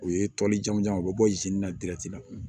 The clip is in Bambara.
U ye tɔlijamu u bɛ bɔ na la